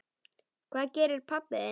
Hvað gerir pabbi þinn?